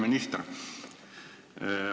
Hea minister!